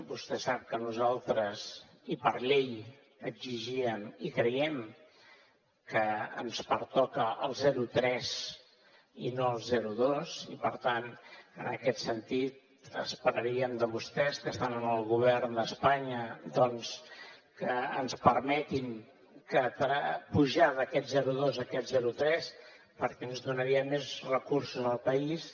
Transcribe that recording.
vostè sap que nosaltres i per llei exigíem i creiem que ens pertoca el zero coma tres i no el zero coma dos i per tant en aquest sentit esperaríem de vostès que estan en el govern d’espanya doncs que ens permetin pujar d’aquest zero coma dos a aquest zero coma tres perquè ens donaria més recursos al país